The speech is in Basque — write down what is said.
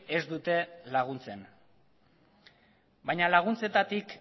ez dute laguntzen baina laguntzetatik